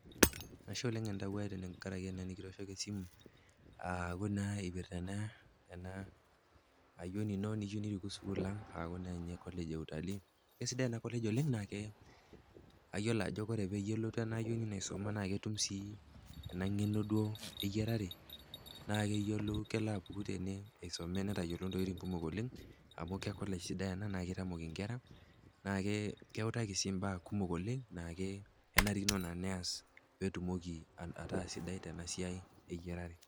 Ashe oleng entawuo ai kitooshoko esimu, aaku naa eena ayioni iino niyieu nirikuu sukuul ang' aah eena collage e utalii. Kesidai eena collage oleng naa kayiolo aajo koore peyie elotu eena ayioni iino aisoma naa ketum sii eena ng'eno duo eyiarare, amuu kelo ke collage sidai ena naa keitamok inkera naa keutaki sii imbaa kumok oleng' naa keutaki sii imba kumok oleng' naa kenarikino neyiolou peyie ias eena siai eyiarare.